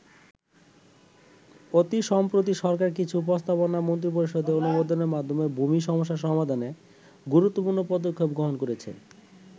অতি সম্প্রতি সরকার কিছু প্রস্তাবনা মন্ত্রিপরিষদে অনুমোদনের মাধ্যমে ভূমি সমস্যা সমাধানে গুরুত্বপৃর্ণ পদক্ষেপ গ্রহণ করেছে।